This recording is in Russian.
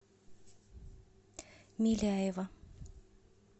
миляева